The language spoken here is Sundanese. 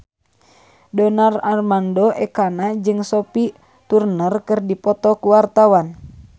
Donar Armando Ekana jeung Sophie Turner keur dipoto ku wartawan